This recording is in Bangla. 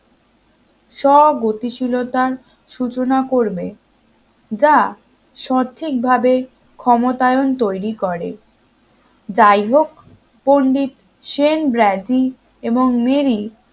সব গতিশীলতার সূচনা করবে যা সঠিক ভাবে ক্ষমতায়ন তৈরি করে যাই হোক পন্ডিত সেন ব্রভী এবং মেরি